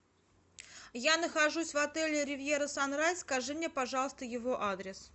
я нахожусь в отеле ривьера санрайз скажи мне пожалуйста его адрес